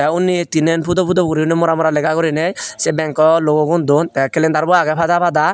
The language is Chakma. te undi he tinen pudo pudo guriney mora mora lega guriney se bank logo gun dun the calendar bu age fhada fhada.